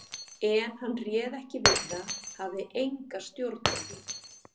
En hann réð ekki við það, hafði enga stjórn á því.